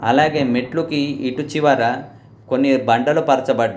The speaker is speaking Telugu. అలాగే మెట్లుకి ఇటు చివర కొన్ని బండలు పరచబడ్డాయి.